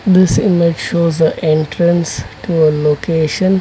This image shows the entrance to a location.